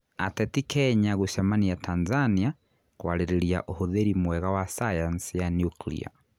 Ateti kenya gũcemania Tanzania kwarĩrĩria ũhũthĩri mwega wa sayansi ya nuklia